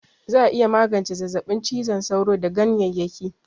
Za'a iya magance zazzaɓin cizon sauro da ganyeyyaki